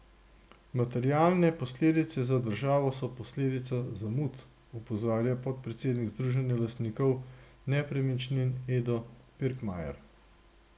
Materialne posledice za državo so posledica zamud, opozarja podpredsednik Združenja lastnikov nepremičnin Edo Pirkmajer.